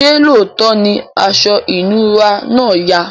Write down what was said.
ṣe looto ní aṣọ inura náa yà?